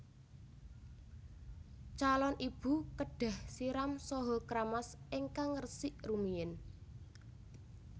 Calon ibu kedah siram saha kramas ingkang resik rumiyin